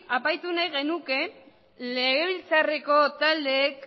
aipatu nahi genuke legebiltzarreko taldeek